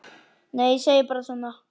Nei, ég segi bara svona.